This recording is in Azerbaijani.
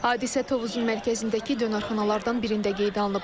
Hadisə Tovuzun mərkəzindəki dönərxanalardan birində qeydə alınıb.